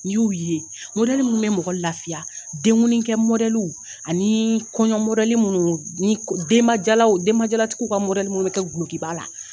N'i y'u ye minnu bɛ mɔgɔ lafiya denkundikɛ ani kɔɲɔ minnu ni denbajala denbajalatigiw ka minnu bɛ kɛ dulokiba la